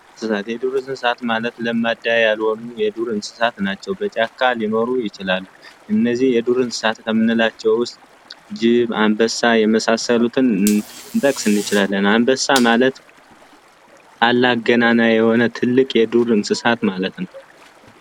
እንስሳት የዱር እንስሳት ማለት ለማዳል ያልሆኑ እንስሳቶች ናቸው። በጫካ ሊኖሩ ይችላሉ እነዚህ የዱር እንስሳት ከምንላቸው ዉስጥ ጅብ፣ አንበሳ የመሳሰሉትን ልንጠቅስ እንችላለን። አንበሳ ማለት ታላቅ ገናና የሆነ ትልቅ የዱር እንስሳ ነው።